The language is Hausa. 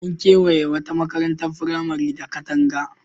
An kewaye wata makarantar firamare da katanga.